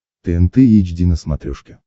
тнт эйч ди на смотрешке